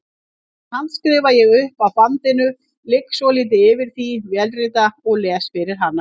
Síðan handskrifa ég upp af bandinu, ligg svolítið yfir því, vélrita og les fyrir hana.